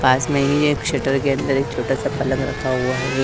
पास में ही एक शटर के अंदर एक छोटा सा पलंग रखा हुआ है।